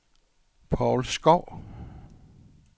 Paul Skov